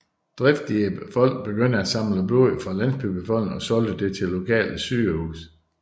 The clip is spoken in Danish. Driftige folk begyndte at samle blod fra landsbybefolkningen og solgte det til lokale sygehus